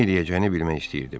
Nə eləyəcəyini bilmək istəyirdim.